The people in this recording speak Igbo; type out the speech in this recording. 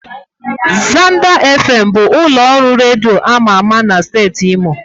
Zanders Fm bụ ụlọ ọrụ redio ama ama na steeti imo.